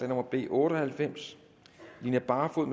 nummer b otte og halvfems line barfod